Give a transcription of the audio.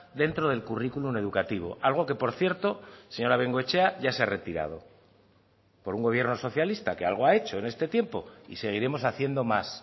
dentro del currículum educativo algo que por cierto señora bengoechea ya se ha retirado por un gobierno socialista que algo ha hecho en este tiempo y seguiremos haciendo más